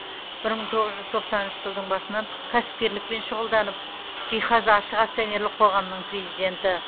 бір мың тоғыз жүз тоқсаныншы жылдың басынан кәсіпкерлікпен шұғылданып жиһаз ашық акционерлік қоғамының президенті